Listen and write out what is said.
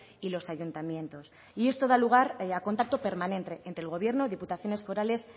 y los ayuntamientos y esto da lugar a contacto permanente entre el gobierno diputaciones forales